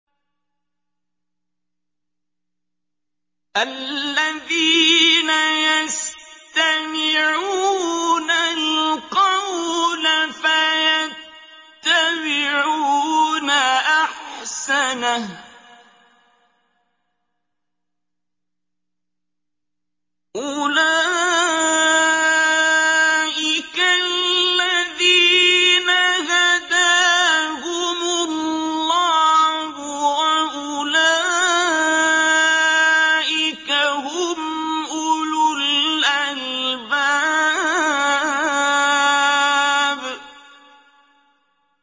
الَّذِينَ يَسْتَمِعُونَ الْقَوْلَ فَيَتَّبِعُونَ أَحْسَنَهُ ۚ أُولَٰئِكَ الَّذِينَ هَدَاهُمُ اللَّهُ ۖ وَأُولَٰئِكَ هُمْ أُولُو الْأَلْبَابِ